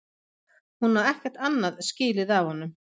Hún á ekkert annað skilið af honum.